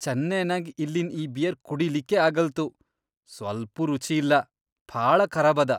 ಚೆನ್ನೈನ್ಯಾಗ್ ಇಲ್ಲಿನ್ ಈ ಬಿಯರ್ ಕುಡಿಲಿಕ್ಕೇ ಆಗಲ್ತು ಸ್ವಲ್ಪೂ ರುಚಿ ಇಲ್ಲಾ ಭಾಳ ಖರಾಬದ.